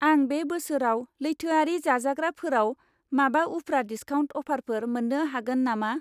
आं बे बोसोराव लैथोआरि जाजाग्राफोराव माबा उफ्रा डिसकाउन्ट अफारफोर मोन्नो हागोन नामा?